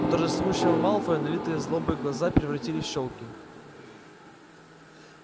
у торжествующего малфоя налитые злобой глаза превратились в щёлки